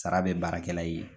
Sara bɛ baarakɛla ye.